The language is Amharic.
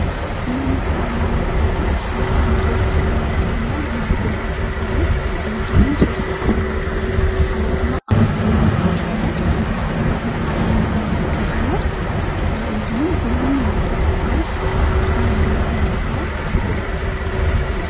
ምስል እንደሚታየው አንድ ቤተሰብን ያሳየናል እናትና አባት አሉ እንዲሁም ሦስተኛ የተወለዱ አናም አንድ በሆድ ውስጥ ያለ ህፃን ይታየናል። አንድሁም ሁሉም የኢትዮጵያን ባንድራ ልብስ ለብሰዋል።